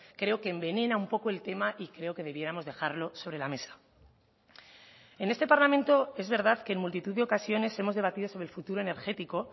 creo que envenena un poco el tema y creo que debiéramos dejarlo sobre la mesa en este parlamento es verdad que en multitud de ocasiones hemos debatido sobre el futuro energético